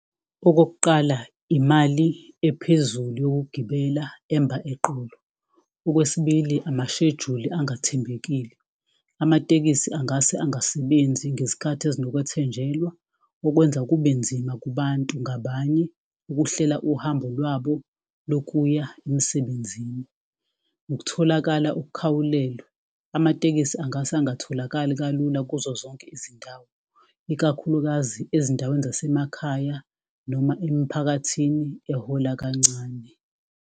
Okokuqala, imali ephezulu yokugibela emba eqolo. Okwesibili, amashejuli angathembekile, amatekisi angase angasebenzi ngezikhathi ezinokwethenjelwa. Okwenza kubenzima kubantu ngabanye ukuhlela uhambo lwabo lokuya emsebenzini. Ukutholakala okukhawulelwe, amatekisi angase angatholakali kalula kuzo zonke izindawo ikakhulukazi ezindaweni zasemakhaya noma emiphakathini ehola kancane.